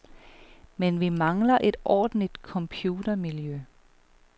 Men vi mangler et ordentligt computermiljø.